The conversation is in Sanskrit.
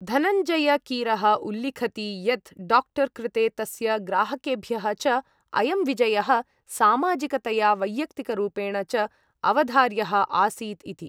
धनञ्जयकीरः उल्लिखति यत्, डाक्टर् कृते तस्य ग्राहकेभ्यः च अयं विजयः सामाजिकतया वैय्यक्तिकरूपेण च अवधार्यः आसीत् इति।